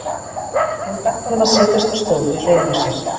Hún benti honum að setjast á stól við hliðina á sér.